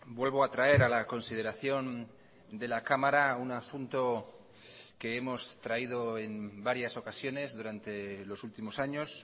vuelvo a traer a la consideración de la cámara un asunto que hemos traído en varias ocasiones durante los últimos años